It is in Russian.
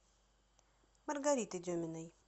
маргариты деминой